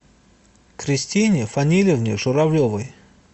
кристине фанилевне журавлевой